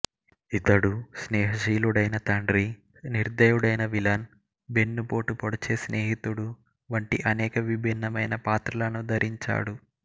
ఇతడు స్నేహశీలుడైన తండ్రి నిర్దయుడైన విలన్ వెన్నుపోటు పొడిచే స్నేహితుడు వంటి అనేక విభిన్నమైన పాత్రలను ధరించాడు